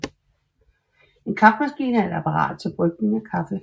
En kaffemaskine er et apparat til brygning af kaffe